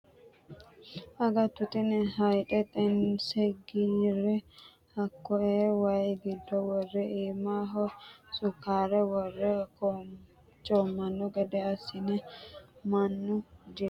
Agatto tini hayxe xeense giire hakkoe waayi giddo worre iimaho sukkare worre coomano gede assinenna mannu jilu heerano woyte anganiho.